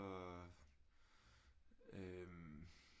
Øh